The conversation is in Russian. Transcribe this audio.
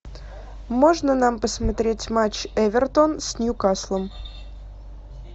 можно нам посмотреть матч эвертон с ньюкаслом